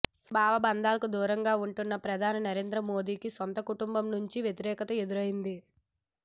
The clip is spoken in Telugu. భవబంధాలకు దూరంగా ఉంటున్న ప్రధాని నరేంద్ర మోదీకి సొంత కుటుంబం నుంచే వ్యతిరేకత ఎదురైంది